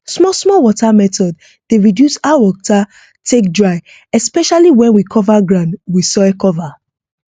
small small water method dey reduce how water take dry especially when we cover ground with soil cover